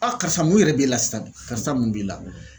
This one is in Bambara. Aa karisa mun yɛrɛ b'e la sisa karisa mun b'i la